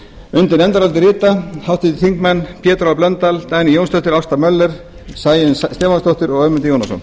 undir nefndarálitið rita háttvirtir þingmenn pétur h blöndal dagný jónsdóttir ásta möller sæunn stefánsdóttir og ögmundur jónasson